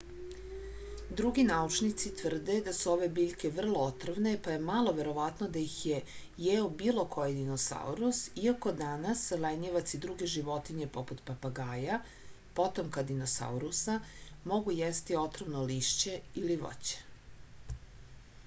други научници тврде да су ове биљке врло отровне па је мало вероватно да их је јео било који диносаурус иако данас лењивац и друге животиње попут папагаја потомка диносауруса могу јести отровно лишће или воће